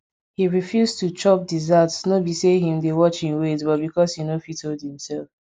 he refused to chop dessert no be say him dey watch him weight but because him want fit hold himself